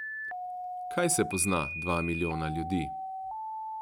Kaj se pozna dva milijona ljudi?